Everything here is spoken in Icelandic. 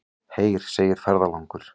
Heyr, segir ferðalangur.